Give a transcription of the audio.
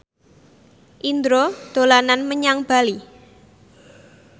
Indro dolan menyang Bali